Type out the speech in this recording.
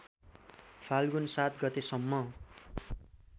फाल्गुन ७ गतेसम्म